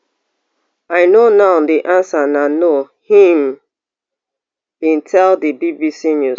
i know now di answer na no im bin tell di bbc news